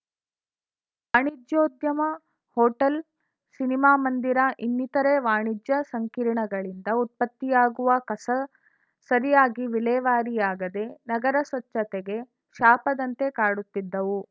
ವಾಣಿಜ್ಯೋದ್ಯಮ hotel cinema ಮಂದಿರ ಇನ್ನಿತರೆ ವಾಣಿಜ್ಯ ಸಂಕೀರ್ಣಗಳಿಂದ ಉತ್ಪತ್ತಿಯಾಗುವ ಕಸ ಸರಿಯಾಗಿ ವಿಲೇವಾರಿಯಾಗದೇ ನಗರ ಸ್ವಚ್ಛತೆಗೆ ಶಾಪದಂತೆ ಕಾಡುತ್ತಿದ್ದವು